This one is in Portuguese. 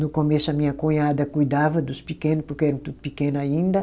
No começo, a minha cunhada cuidava dos pequeno, porque eram tudo pequeno ainda.